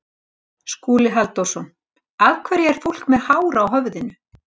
Skúli Halldórsson: Af hverju er fólk með hár á höfðinu?